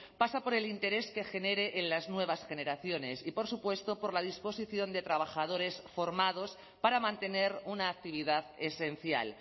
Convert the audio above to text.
pasa por el interés que genere en las nuevas generaciones y por supuesto por la disposición de trabajadores formados para mantener una actividad esencial